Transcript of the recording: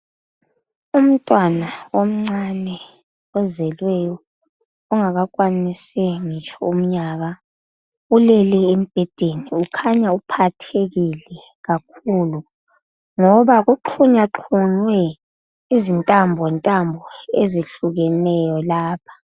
Umntwana omncane ozelweyo ,ongakakhwanisi ngitsho umnyaka .Ulele embhedeni ukhanya uphathekile kakhulu .ngoba kuxhunyaxhunywe izintambo ntambo ezihlukeneyo lapha.